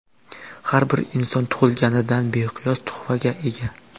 Har bir inson tug‘ilganidan beqiyos tuhfaga ega.